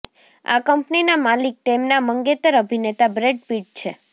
આ કમ્પનીના માલિક તેમના મંગેતર અભિનેતા બ્રૅડ પિટ છે